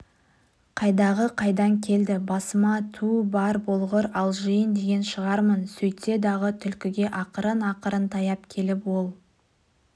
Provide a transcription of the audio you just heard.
қайдағы қайдан келді басыма түу бар болғыр алжиын деген шығармын сөйтсе-дағы түлкіге ақырын-ақырын таяп келіп ол